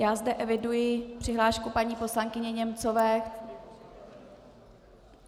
Já zde eviduji přihlášku paní poslankyně Němcové?